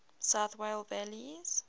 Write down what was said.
south wales valleys